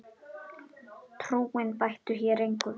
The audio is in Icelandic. Trúin bæti hér engu við.